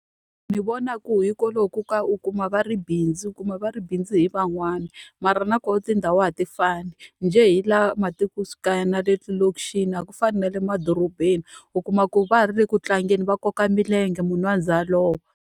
Ni vona ku hikwalaho ko ku u kuma va ri bindzu u kuma va ri bindzu hi van'wani, mara na kona tindhawu a ti fani. Njhe hi laha matikoxikaya na le malokixini a ku fani na le madorobeni, u kuma ku va ha ri le ku tlangeni, va koka milenge munhu a ze a lova.